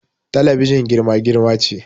Talabijin girma-girma ce